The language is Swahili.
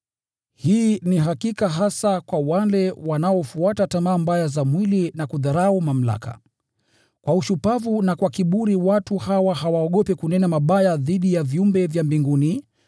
Hii ni hakika hasa kwa wale wanaofuata tamaa mbaya za mwili na kudharau mamlaka. Kwa ushupavu na kwa kiburi, watu hawa hawaogopi kunena mabaya dhidi ya viumbe vya mbinguni.